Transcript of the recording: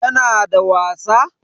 Tana da wasa?